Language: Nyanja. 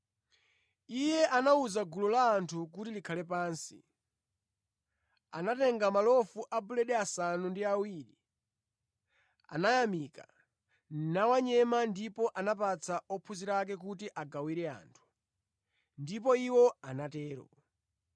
Iye anawuza gulu la anthu kuti likhale pansi. Atatenga malofu a buledi asanu ndi awiri, anayamika, nawanyema ndipo anapatsa ophunzira ake kuti agawire anthu, ndipo iwo anatero.